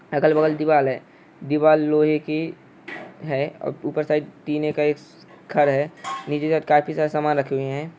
अगल बगल दिवाल है। दिवाल लोहे केे है। और ऊपर साइड टिन -ए का एक स-घर हे। नीचे काफि शारा सामान राखि हूइ हे।